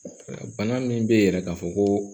Bana min bɛ yɛrɛ ka fɔ ko